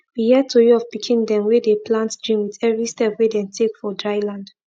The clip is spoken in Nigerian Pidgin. we hear tori of pikin dem wey dey plant dream with every step wey dem take for dry land